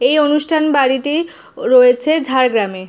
এই অনুষ্ঠান বাড়িটি রয়েছে ঝাড়গ্রাম এ।